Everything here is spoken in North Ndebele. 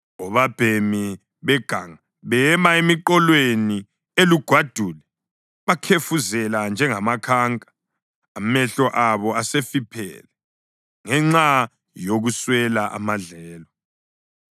Obabhemi beganga bema emiqolweni elugwadule bakhefuzele njengamakhanka; amehlo abo asefiphele ngenxa yokuswela amadlelo.”